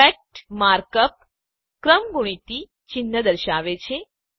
fact mark up ક્રમગુણિત ચિહ્ન દર્શાવે છે